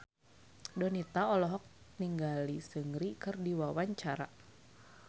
Donita olohok ningali Seungri keur diwawancara